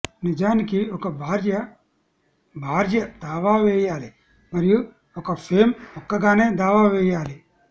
నిజానికి ఒక భార్య భార్య దావా వేయాలి మరియు ఒక ఫెమ్ ఒక్కగానే దావా వేయాలి